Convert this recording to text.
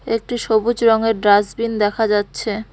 একটি সবুজ রঙের ডাস্টবিন দেখা যাচ্ছে।